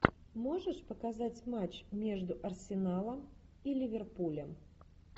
можешь показать матч между арсеналом и ливерпулем